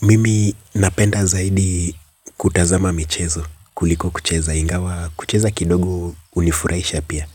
Mimi napenda zaidi kutazama michezo kuliko kucheza ingawa kucheza kidogo hunifuraisha pia.